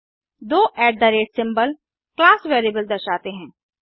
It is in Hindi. दो सिंबल क्लास वेरिएबल दर्शाते हैं